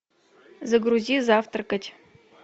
загрузи завтракать